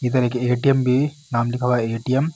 इधर एक एटीएम भी नाम लिखा हुआ है एटीएम --